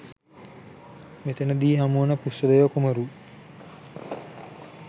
මෙතන දී හමුවන ඵුස්සදේව කුමරු